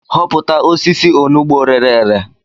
Hopụta osisi onugbu rere ere